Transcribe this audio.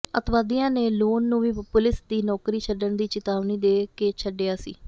ਅਤਿਵਾਦੀਆਂ ਨੇ ਲੋਨ ਨੂੰ ਵੀ ਪੁਲਿਸ ਦੀ ਨੌਕਰੀ ਛੱਡਣ ਦੀ ਚਿਤਾਵਨੀ ਦੇ ਕੇ ਛੱਡਿਆ ਸੀ